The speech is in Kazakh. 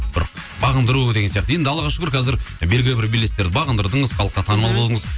бір бағындыру деген сияқты енді аллаға шүкір қазір белгілі бір белестер бағындырдыңыз халыққа танымал болдыңыз